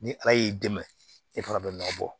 Ni ala y'i dɛmɛ e fana bɛ nɔ bɔ